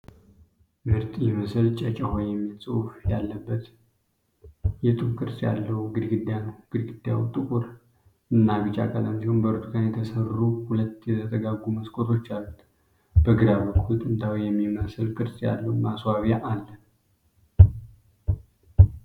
ምርጥ! ይህ ምስል "ጨጨሆ " የሚል ጽሑፍ ያለበትን፣ የጡብ ቅርጽ ያለው ግድግዳ ነው። ግድግዳው ጥቁር እና ቢጫ ቀለም ሲሆን፣ በብርቱካን የተሰሩ ሁለት የተጠጋጉ መስኮቶች አሉት። በግራ በኩል ጥንታዊ የሚመስል ቅርጽ ያለው ማስዋቢያ አለ።